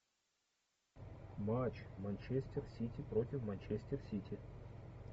матч манчестер сити против манчестер сити